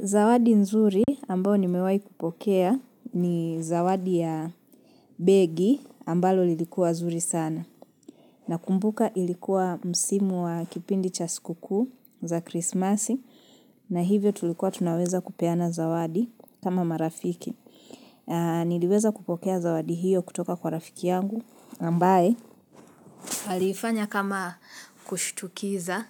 Zawadi nzuri ambao nimewahi kupokea ni zawadi ya begi ambalo lilikuwa zuri sana. Na kumbuka ilikuwa msimu wa kipindi cha sikukuu za krismasi na hivyo tulikuwa tunaweza kupeana zawadi kama marafiki. Niliweza kupokea zawadi hiyo kutoka kwa rafiki yangu ambaye. Aliifanya kama kushtukiza